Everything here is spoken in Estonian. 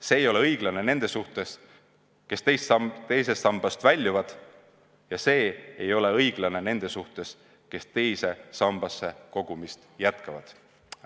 See ei ole õiglane nende suhtes, kes teisest sambast väljuvad, ja see ei ole õiglane nende suhtes, kes teise sambasse kogumist jätkavad.